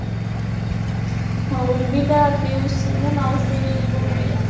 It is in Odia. ହଉ ରିମି ତା ପିଉସୀ ନା ମାଉସୀ ବି ଭାରି ଇଏ